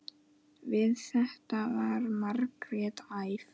Við þetta varð Margrét æf.